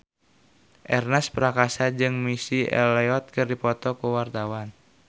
Ernest Prakasa jeung Missy Elliott keur dipoto ku wartawan